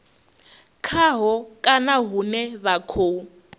khaho kana hune vha khou